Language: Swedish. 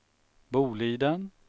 Boliden